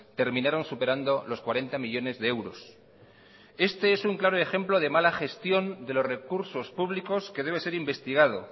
terminaron superando los cuarenta millónes de euros este es un claro ejemplo de mala gestión de los recursos públicos que debe ser investigado